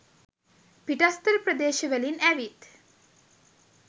පිටස්තර ප්‍රදේශ වලින් ඇවිත්